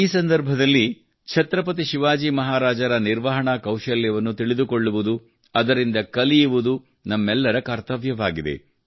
ಈ ಸಂದರ್ಭದಲ್ಲಿ ಛತ್ರಪತಿ ಶಿವಾಜಿ ಮಹಾರಾಜರ ನಿರ್ವಹಣಾ ಕೌಶಲ್ಯವನ್ನು ತಿಳಿದುಕೊಳ್ಳುವುದು ಅದರಿಂದ ಕಲಿಯುವುದು ನಮ್ಮೆಲ್ಲರ ಕರ್ತವ್ಯವಾಗಿದೆ